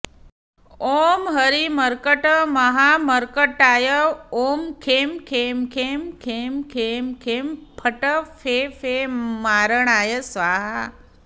ओं हरिमर्कटमहामर्कटाय ओं खें खें खें खें खें खें फट् फे फे मारणाय स्वाहा